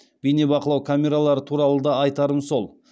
бейнебақылау камералары туралы да айтарым сол